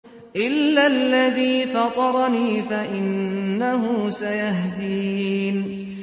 إِلَّا الَّذِي فَطَرَنِي فَإِنَّهُ سَيَهْدِينِ